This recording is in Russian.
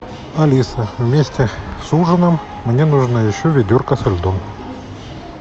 алиса вместе с ужином мне нужно еще ведерко со льдом